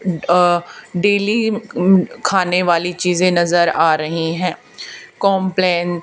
अह daily खाने वाली चीजें नजर आ रही है कॉम्प्लान --